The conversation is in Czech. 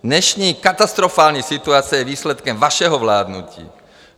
Dnešní katastrofální situace je výsledkem vašeho vládnutí.